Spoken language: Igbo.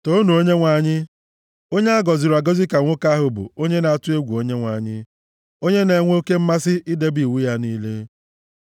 Toonu Onyenwe anyị. Onye a gọziri agọzi ka nwoke ahụ bụ onye na-atụ egwu Onyenwe anyị; onye na-enwe oke mmasị idebe iwu ya niile.